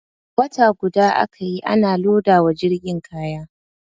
Wata guda aka yi ana loda wa jirgin kaya.